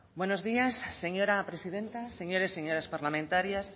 buenos días señora presidenta señores y señoras parlamentarias